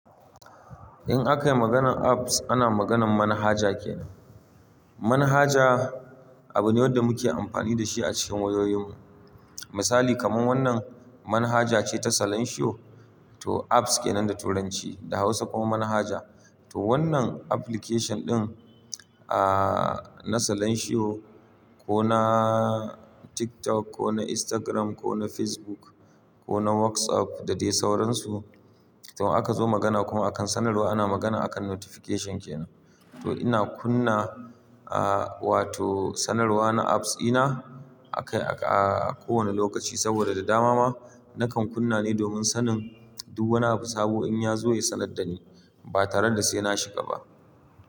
In akayi maganar apps ana maganar manhaja kenan. Manhaja abu ne wanda muke amfani da shi a cikin wayoyin mu. Misali kaman wannan manhaja ce ta Salansiyo to apps kenan da turanci da hausa kuma manhaja. To wannan application ɗin a-a-a na Salansiyo ko na TikTok ko na Instagram ko na Facebook ko na WhatsApp da dai sauransu to aka zo magana kuma akan sanarwa ana magana akan notification kenan. To ina kunna a wato sanarwa na apps dina aka a-a ko wane lokaci saboda da dama ma nakan kunna ne domin sanin duk wani abu sabo in ya zo ya sanar da ni ba tare da sai na shiga ba.